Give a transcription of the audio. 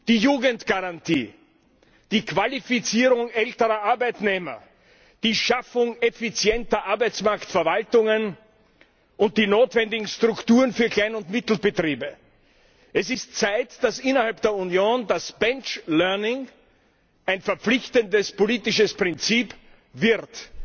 die Jugendgarantie, die Qualifizierung älterer Arbeitnehmer, die Schaffung effizienter Arbeitsmarktverwaltungen und die notwendigen Strukturen für Klein und Mittelbetriebe. Es ist Zeit, dass innerhalb der Union das Benchlearning ein verpflichtendes politisches Prinzip wird.